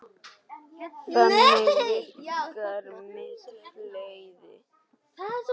Þannig virkar mitt flæði.